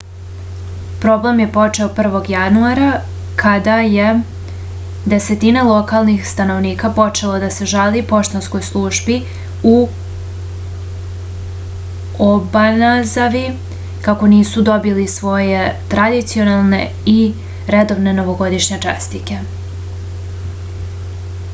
problem je počeo 1. januara kada je desetine lokalnih stanovnika počelo da se žali poštanskoj službi u obanazavi kako nisu dobili svoje tradicionalne i redovne novogodišnje čestitke